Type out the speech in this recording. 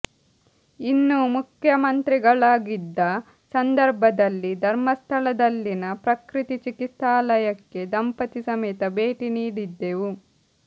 ಇನ್ನು ಮುಖ್ಯಮಂತ್ರಿಗಳಾಗಿದ್ದ ಸಂದರ್ಭದಲ್ಲಿ ಧರ್ಮಸ್ಥಳದಲ್ಲಿನ ಪ್ರಕೃತಿ ಚಿಕಿತ್ಸಾಲಯಕ್ಕೆ ದಂಪತಿ ಸಮೇತ ಭೇಟಿ ನೀಡಿದ್ದೆವು